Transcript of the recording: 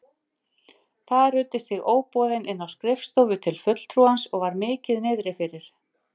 Þar ruddist ég óboðin inn á skrifstofu til fulltrúans og var mikið niðri fyrir.